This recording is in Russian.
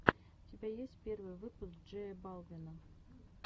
у тебя есть первый выпуск джея балвина